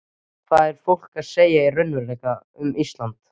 Hvað er fólk að segja í raunveruleikanum um Ísland?